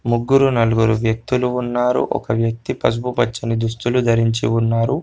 ముగ్గురు నలుగురు వ్యక్తులు ఉన్నారు. ఒక వ్యక్తి పసుపు పచ్చని దుస్తులు ధరించి ఉన్నారు.